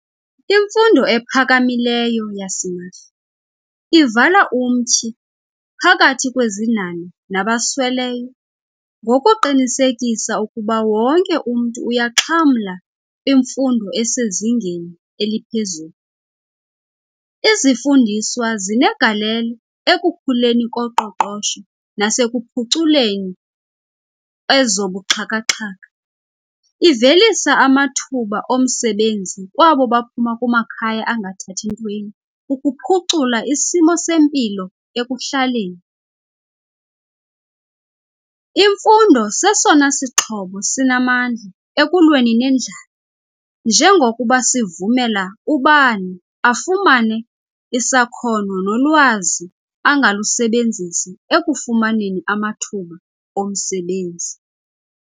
Imfundo ephakamileyo yasimahla ivala umtyhi phakathi kwezinhanha nabasweleyo ngokuqinisekisa ukuba wonke umntu uyaxhamla kwimfundo esezingeni eliphezulu. Izifundiswa zinegalelo ekukhuleni koqoqosho nasekuphuculeni ezobuxhakaxhaka. Ivelisa amathuba omsebenzi kwabo baphuma kumakhaya angathathi ntweni ukuphucula isimo sempilo ekuhlaleni. Imfundo sesona sixhobo sinamandla ekulweni nendlala njengokuba sivumela ubani afumane isakhono nolwazi angalusebenzisa ekufumaneni amathuba omsebenzi.